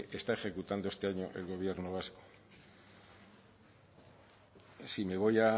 está ejecutando este año el gobierno vasco si me voy